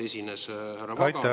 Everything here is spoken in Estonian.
Aitäh!